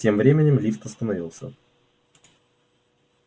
тем временем лифт остановился